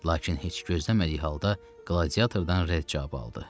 Lakin heç gözləmədiyi halda qladiatordan rədd cavabı aldı.